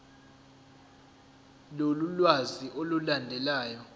lolu lwazi olulandelayo